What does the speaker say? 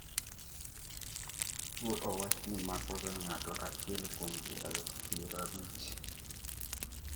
tuwo owachni makoga ng'ato achiel kuom ji aluf pier abich